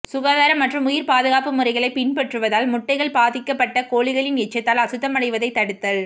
சுகாதாரம் மற்றும் உயிர்ப்பாதுகாப்பு முறைகளைப் பின்பற்றுவதால் முட்டைகள் பாதிக்கப்பட்ட கோழிகளின் எச்சத்தால் அசுத்தமடைவதைத் தடுத்தல்